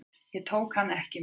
Ég tók hann ekki með.